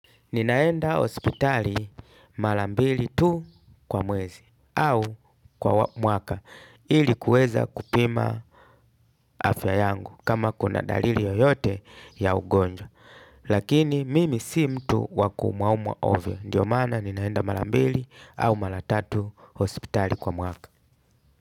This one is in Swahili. Ninaenda hospitali mara mbili tu kwa mwezi au kwa mwaka ili kuweza kupima afya yangu kama kuna dalili yoyote ya ugonjwa. Lakini mimi si mtu wa kuumwaumwa ovyo. Ndiyo mana ninaenda mara mbili au mara tatu hospitali kwa mwaka.